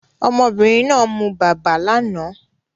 Ọmọbìnrin náà mu bàbá lánàá